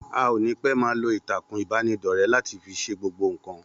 A ò ní pẹ́ máa lo Ìtàkùn ìbánidọ́rẹ́ láti fi ṣe gbogbo nǹkan.